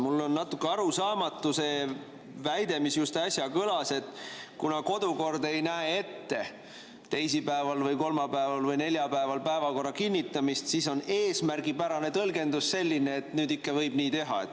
Mulle on natuke arusaamatu see väide, mis just äsja kõlas: kuna kodukord ei näe ette teisipäeval või kolmapäeval või neljapäeval päevakorra kinnitamist, siis on eesmärgipärane tõlgendus selline, et nüüd võib nii teha.